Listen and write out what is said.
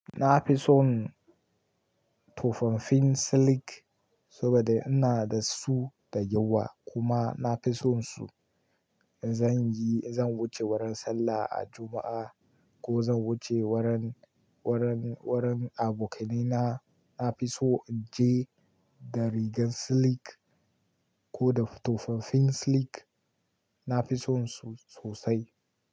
Na fi son tofafafin silik saboda ina da su da yawa kuma na fi son su. In zan yi, in zan wuce wurin sallah a Juma'a ko zan wuce wurin, wurin, wurin abokaina, na fi so in je da rigar siliki ko da tofafafin silik. Na fi son su sosai.